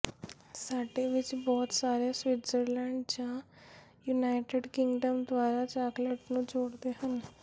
ਸਾਡੇ ਵਿੱਚੋਂ ਬਹੁਤ ਸਾਰੇ ਸਵਿਟਜ਼ਰਲੈਂਡ ਜਾਂ ਯੂਨਾਈਟਿਡ ਕਿੰਗਡਮ ਦੁਆਰਾ ਚਾਕਲੇਟ ਨੂੰ ਜੋੜਦੇ ਹਨ